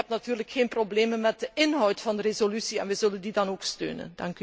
Maar ik heb natuurlijk geen problemen met de inhoud van de resolutie en wij zullen die dan ook steunen.